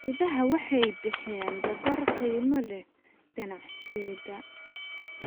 Idaha waxay bixiyaan dhogor qiimo leh ganacsiga.